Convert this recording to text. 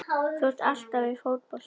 Þú ert alltaf í fótbolta!